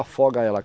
Afoga ela.